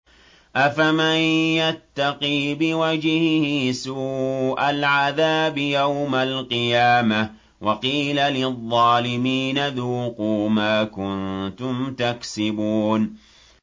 أَفَمَن يَتَّقِي بِوَجْهِهِ سُوءَ الْعَذَابِ يَوْمَ الْقِيَامَةِ ۚ وَقِيلَ لِلظَّالِمِينَ ذُوقُوا مَا كُنتُمْ تَكْسِبُونَ